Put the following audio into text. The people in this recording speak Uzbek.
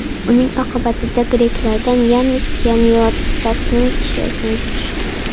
Uning oqibatida greklardan Yannis Yanniotasning tishi sinib tushdi.